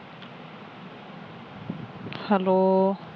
Hello.